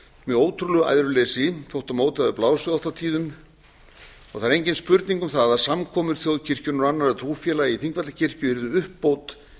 með ótrúlegu æðruleysi gat á móti hafi blásið oft og tíðum og það er engin spurning um það að samkomur þjóðkirkjunnar og annarra trúfélaga í þingvallakirkju yrðu uppbót